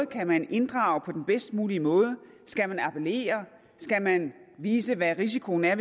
kan man inddrage på den bedst mulige måde skal man appellere skal man vise hvad risikoen er